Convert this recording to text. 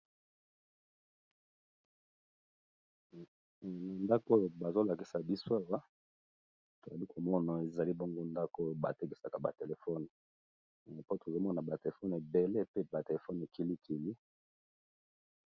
na ndako oyo bazolakisa biswewa tozali komona ezali bongo ndako oyo batekesaka batelefone po tozomona batelefone ebele pe batelefone ekilikili